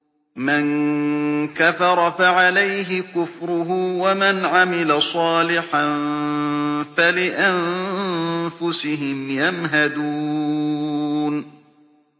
مَن كَفَرَ فَعَلَيْهِ كُفْرُهُ ۖ وَمَنْ عَمِلَ صَالِحًا فَلِأَنفُسِهِمْ يَمْهَدُونَ